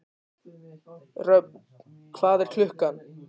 Röfn, hvað er klukkan?